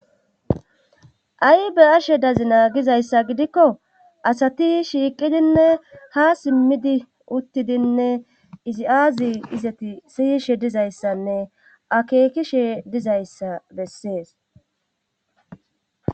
Ay be ashe dazi naagizayssa gidikko asati shiiqidinne ha simmidi uttidinne izi aazi izati siyishe dizayssanne akeekishe dizayssa bessees.